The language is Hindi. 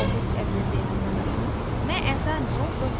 अगर मैं एक अलग office address देना चाहती हूँ